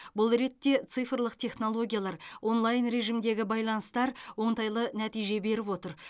бұл ретте цифрлық технологиялар онлайн режимдегі байланыстар оңтайлы нәтиже беріп отыр